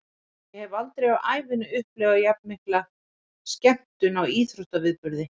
Ég hef aldrei á ævinni upplifað jafnmikla skemmtun á íþróttaviðburði.